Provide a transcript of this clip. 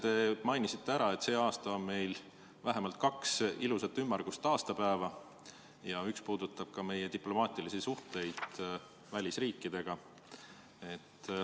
Te mainisite ära, et see aasta on meil vähemalt kaks ilusat ümmargust aastapäeva ja üks puudutab ka meie diplomaatilisi suhteid välisriikidega.